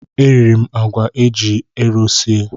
E riri m àgwà eji ero sie.